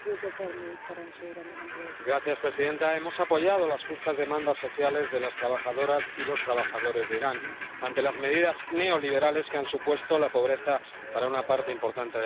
Señora presidenta, hemos apoyado las justas demandas sociales de las trabajadoras y los trabajadores de Irán ante las medidas neoliberales que han supuesto la pobreza para una parte importante de la población.